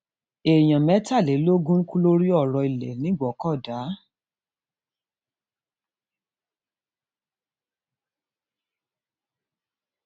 èèyàn mẹtàlélógún kú lórí ọrọ um ilé nìgbòkọdá